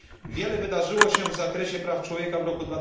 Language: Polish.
Wiele wydarzyło się w zakresie praw człowieka w roku